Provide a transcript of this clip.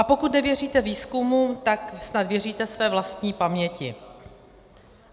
A pokud nevěříte výzkumům, tak snad věříte své vlastní paměti.